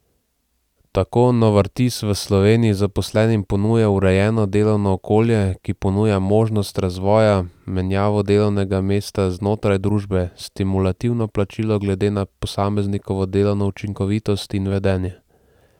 Tako Novartis v Sloveniji zaposlenim ponuja urejeno delovno okolje, ki ponuja možnost razvoja, menjavo delovnega mesta znotraj družbe, stimulativno plačilo glede na posameznikovo delovno učinkovitost in vedenje.